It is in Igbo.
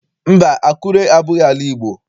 Mba, Akure abụghị ala Igbo.